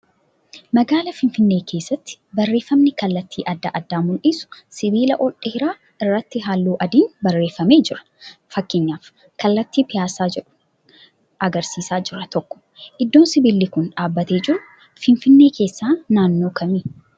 Magaalaa finfinnee keessatti barreeffamni kallattii adda addaa mul'isuu sibiila ol dheeraa irratti halluu adiin barreeffamee jira. fakkeenyaaf kallatti 'Piiyaasaa' jedhu agarsiisa jira tokko. Iddoon sibiilli kun dhaabbatee jiru Finfinnee keessaa naannoo kamii?